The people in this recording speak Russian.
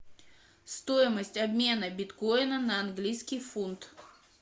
стоимость обмена биткоина на английский фунт